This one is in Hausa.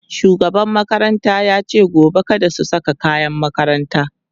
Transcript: shugaban makaranta yace gobe kada su Saka kayan makaranta